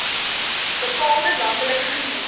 bepaalde landelike gemeenskappe